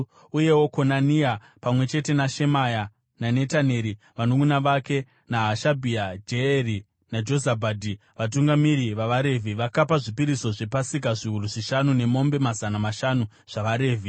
Uyewo Konania pamwe chete naShemaya naNetaneri vanunʼuna vake, naHashabhia, Jeyeri naJozabhadhi, vatungamiri vavaRevhi, vakapa zvipiriso zvePasika zviuru zvishanu nemombe mazana mashanu zvavaRevhi.